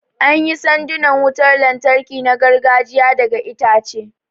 An yi sandunan wutar lantarki na gargajiya daga itace